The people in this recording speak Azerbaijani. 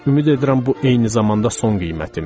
Ümid edirəm bu eyni zamanda son qiymətimdir.